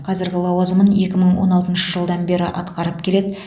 қазіргі лауазымын екі мың он алтыншы жылдан бері атқарып келеді